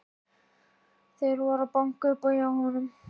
Þeir voru að banka upp á hjá honum.